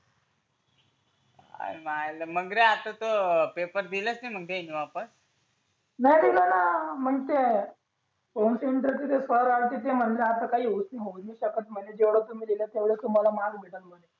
आणि मायला मग रे आता तो पेपर दिलेच नाही मग दिले वापस नाही दिले ना मग ते कोणते फ़ोरारिटी ते म्हटले असं काही होऊ नाही शकत म्हणे जेवढं तुम्ही लिहिलं तेवढं तुम्हाला मार्क भेटल म्हणे